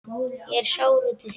Ég er sár út í þig.